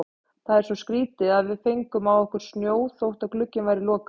Það er svo skrýtið að við fengum á okkur snjó þótt glugginn væri lokaður.